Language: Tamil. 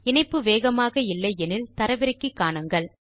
இணைப்பு வேகமாக இல்லை எனில் தரவிறக்கி காணுங்கள்